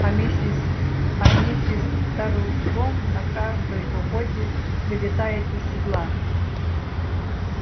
а миссис а миссис тарлтон на каждой охоте вылетает из седла